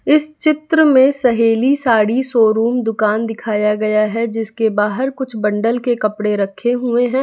इस चित्र में सहेली साड़ी शोरूम दुकान दिखाया गया है जिसके बाहर कुछ बंडल के कपड़े रखे हुए हैं।